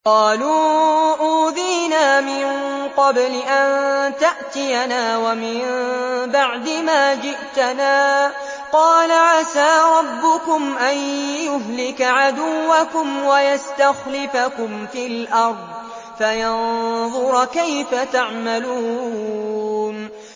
قَالُوا أُوذِينَا مِن قَبْلِ أَن تَأْتِيَنَا وَمِن بَعْدِ مَا جِئْتَنَا ۚ قَالَ عَسَىٰ رَبُّكُمْ أَن يُهْلِكَ عَدُوَّكُمْ وَيَسْتَخْلِفَكُمْ فِي الْأَرْضِ فَيَنظُرَ كَيْفَ تَعْمَلُونَ